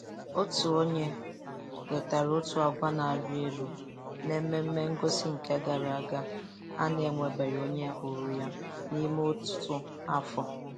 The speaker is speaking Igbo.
Otu onye wetara otu agwa na-arị elu n'ememengosị nke gara aga a.na-enwebeghị onye hụrụ yan'ime ọtụtụ afọ.